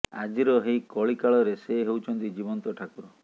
ଆଜିର ଏହି କଳି କାଳରେ ସେ ହେଉଛନ୍ତି ଜୀବନ୍ତ ଠାକୁର